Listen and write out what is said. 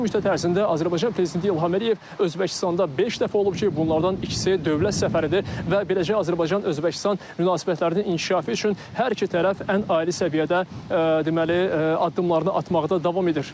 Bu müddət ərzində Azərbaycan prezidenti İlham Əliyev Özbəkistanda beş dəfə olub ki, bunlardan ikisi dövlət səfəridir və beləcə Azərbaycan-Özbəkistan münasibətlərinin inkişafı üçün hər iki tərəf ən ali səviyyədə deməli addımlarını atmaqda davam edir.